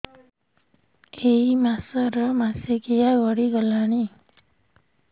ଏଇ ମାସ ର ମାସିକିଆ ଗଡି ଗଲାଣି